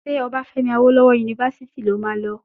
Ṣé Obafemi awolowo yunifásítì lo máa lọ?